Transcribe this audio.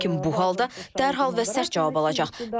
Lakin bu halda dərhal və sərt cavab alacaq.